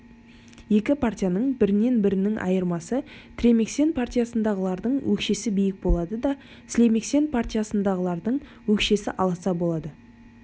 екі партияның бірінен-бірінің айырмасы тремексен партиясындағылардың өкшесі биік болады да слемексен партиясындағылардың өкшесі аласа болады